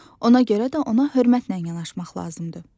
Ona görə də ona hörmətlə yanaşmaq lazımdır.